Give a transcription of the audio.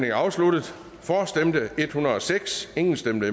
er afsluttet for stemte en hundrede og seks imod stemte